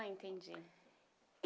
Ah, entendi.